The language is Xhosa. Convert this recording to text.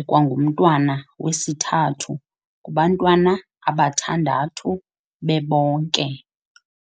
ekwangumntwana wesithathu kubantwana abathandu babonke.